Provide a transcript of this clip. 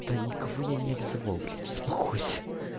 да никого я не обзывал блять успокойся